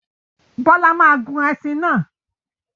Bọ́lá máa gun ẹṣin náà.